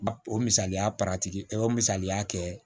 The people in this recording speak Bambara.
Ba o misaliya o misaliya kɛ